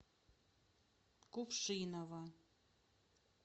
кувшиново